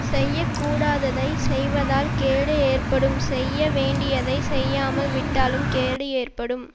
செய்ய கூடாததைச் செய்வதால் கேடு ஏற்படும் செய்ய வேண்டியதை செய்யாமல் விட்டாலும் கேடு ஏற்படும்